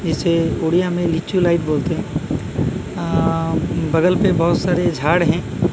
इसे उड़िया में लीचू लाइट बोलते हैं अ बगल पे बहुत सारे झाड़ हैं।